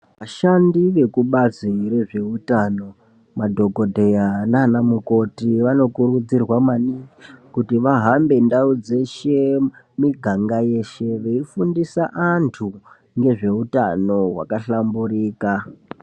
Ashandi ekubazi rezveutano, madhogodheya nanamukoti vanokurudzirwa maningi kuti vahambe ndau dzeshe, miganga yeshe veifundisa antu ngezveutano hwaka hlamburuka.